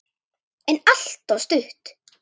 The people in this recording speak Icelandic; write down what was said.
En alltof stutt.